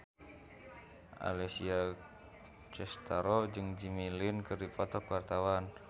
Alessia Cestaro jeung Jimmy Lin keur dipoto ku wartawan